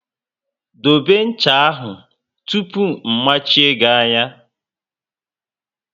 Dobe ncha ahụ tụpụ mmachie gị anya!